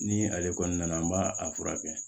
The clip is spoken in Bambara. Ni ale kɔni nana n b'a a furakɛ